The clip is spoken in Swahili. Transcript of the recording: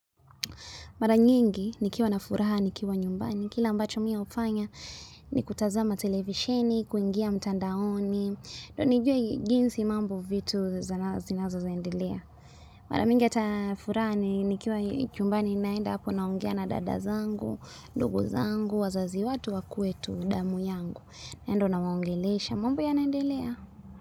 Mara nyingi, nikiwa na furaha, nikiwa nyumbani. Kile ambacho mi hufanya, ni kutazama televisheni, kuingia mtandaoni. Ndio nijue jinsi mambo vitu zinazo endelea. Mara mingi ata furaha, nikiwa chumbani naenda hapo naongea na dada zangu, ndugu zangu, wazazi watu wakwetu, damu yangu. Yani ndo nawaongelesha, mambo yanaendelea.